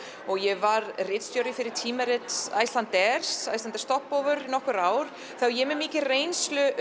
ég var ritstjóri tímarits Icelandair Iceland Stopover í nokkur ár svo ég er með mikla reynslu